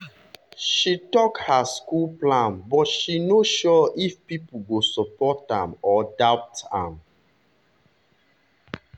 she talk her school plan but she no sure if people go support am or doubt am.